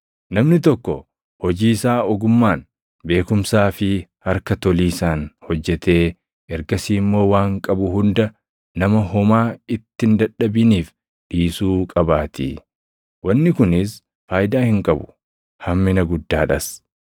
Namni tokko hojii isaa ogummaan, beekumsaa fi harka toliisaan hojjetee ergasii immoo waan qabu hunda nama homaa itti hin dadhabiniif dhiisuu qabaatii. Wanni kunis faayidaa hin qabu; hammina guddaadhas.